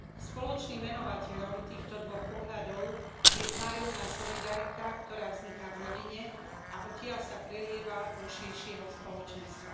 Spoločným menovateľom týchto dvoch pohľadov je vzájomná solidarita, ktorá vzniká v rodine a odtiaľ sa prelieva do širšieho spoločenstva.